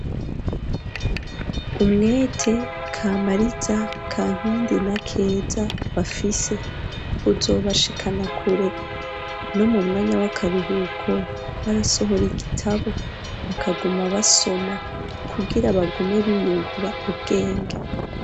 Umwete Kamariza, Kankindi na Keza bafise uzobashikana kure no mu mwanya w'akaruhuko barasohora igitabo bakaguma basoma kugira bagume biyungura ubwenge.